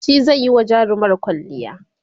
shi zaiyi wa jarumar kwalliya